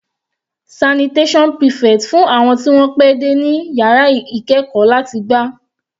Sanitation prefect fún àwọn tí wọ́n pẹ́ dé ní yàrá ìkẹ́ẹ̀kọ́ láti gbá.